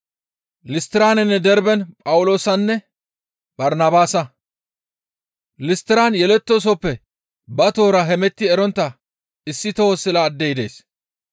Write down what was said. Listtiran yelettoosoppe ba tohora hemetti erontta issi toho sila addey dees.